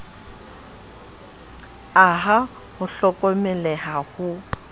a ha ho hlokomeleha ho